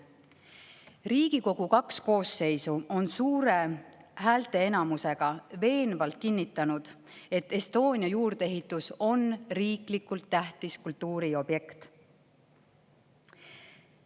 Riigikogu kaks koosseisu on suure häälteenamusega veenvalt kinnitanud, et Estonia juurdeehitis on riiklikult tähtis kultuuriobjekt.